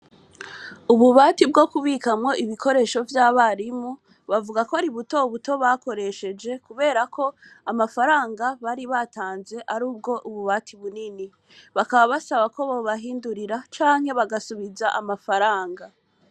Ububati bwo kubikamwo ibikoresho vy'abarimu bavuga ko ari butobuto bakoresheje, kubera ko amafaranga bari batanze ari ubwo ububati bunini bakaba basaba ko bobahindurira canke bagasubiza amafaranga.